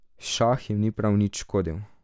Šah jim ni prav nič škodil.